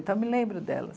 Então, me lembro delas.